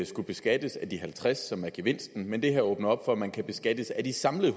skullet beskattes af de halvtreds kr som er gevinsten men det her åbner op for at man kan beskattes af de samlede